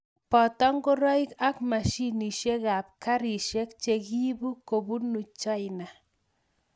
boto ngoroik ak mashinisiekab karisiek che kiibu kobunu China